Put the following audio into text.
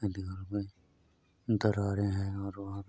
दरारें हैं और वहाँ